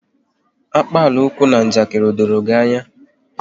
Akpalaokwu na njakiri, o doro gị anya?